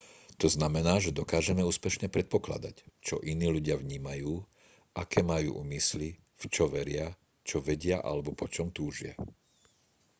to znamená že dokážeme úspešne predpokladať čo iní ľudia vnímajú aké majú úmysly v čo veria čo vedia alebo po čom túžia